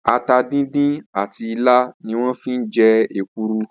Ata díndín àti ilá ni wón fi ń je Èkuru